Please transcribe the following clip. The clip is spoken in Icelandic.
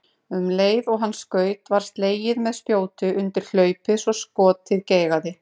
Um leið og hann skaut var slegið með spjóti undir hlaupið svo skotið geigaði.